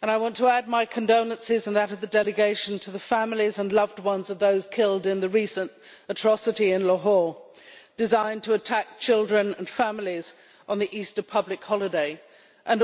and I want to add my condolences and those of the delegation to the families and loved ones of those killed in the recent atrocity in Lahore, designed to attack children and families on the Easter public holiday, and also